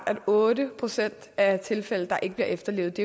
at otte procent af tilfældene ikke bliver efterlevet